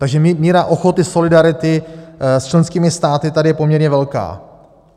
Takže míra ochoty, solidarity s členskými státy je tady poměrně velká.